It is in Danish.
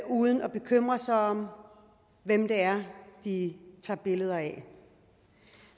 uden at bekymre sig om hvem det er de tager billeder af